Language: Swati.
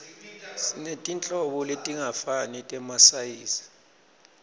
sinetinhlobo letingafani temasayizi